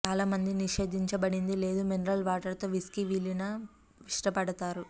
చాలా మంది నిషేధించబడింది లేదు మినరల్ వాటర్ తో విస్కీ విలీన ఇష్టపడతారు